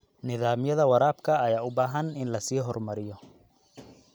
Nidaamyada waraabka ayaa u baahan in la sii horumariyo.